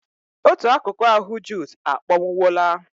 Otù akụkụ ahụ Jude a kpọnwụwola.